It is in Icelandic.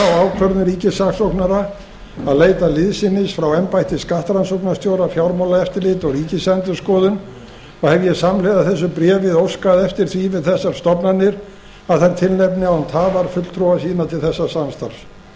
ákvörðun ríkissaksóknara að leita liðsinnis frá embætti skattrannsóknastjóra fjármálaeftirliti og ríkisendurskoðun og hef ég samhliða þessu bréfi óskað eftir því við þessar stofnanir að þær tilnefni án tafar fulltrúa sína til þessa samstarfs